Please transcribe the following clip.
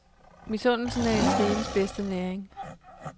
Misundelsen er intrigens bedste næring.